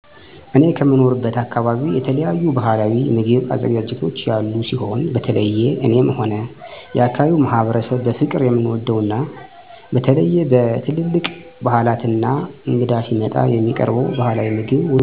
እኔ ከምኖርበት አካበቢ የተለያዩ ባህላዊ ምግብ አዘገጃጀቶች ያሉ ሲሆን በተለየ እኔም ሆነ የአካባቢዉ ማህበረሰብ በፍቅር የምንወደው እና በተለየ በትልልቅ ባህላት እና እንግዳ ሲመጣ የሚቀርበው ባህላዊ ምግብ ውስጥ ዋናው ደሮ ወጥ ሲሆን ከአዘገጃጀቱ ስንጀምር ውሃ እና እንቁላሉ አብሮ ይፈላል ከፈላ በኃላ ከቤት ውስጥ አባወራ ወይም ለአቅመ አዳም የደረሰ ወንድ ልጅ ደሮዉን ይባርካል። ከተባረከ በኃላ በፍል ውሃው ደሮው ላይ በመድፋት ላባውን ከ ቆዳው በመለየት ቆዳው ያለው ፀጉር እንዲወገድ በእሳት ይለበለባል። ቀጣይ በጥንቃቄ የደሮውን ብልት ከ 12 በመለያየት በደንብ ከታጠበ በኃላ በተቁላላው ሽንኩርት ውስጥ የደሮ ብልት አስገብቶ አብሮ በማብሰል እንቁላሉን እና የተለያዩ ቅመማ ቅመሞችን ተጨምሮ ይወጣል።